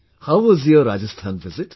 How was your Rajasthan visit